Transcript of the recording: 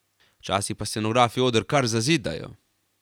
Včasih pa scenografi oder kar zazidajo.